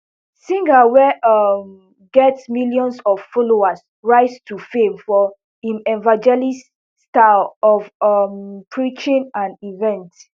singh wey um get millions of followers rise to fame for im evangeliststyle of um preaching and events